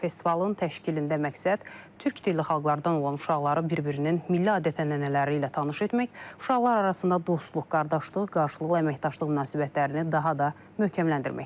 Festivalın təşkilində məqsəd türk dilli xalqlardan olan uşaqları bir-birinin milli adət-ənənələri ilə tanış etmək, uşaqlar arasında dostluq, qardaşlıq, qarşılıqlı əməkdaşlıq münasibətlərini daha da möhkəmləndirməkdir.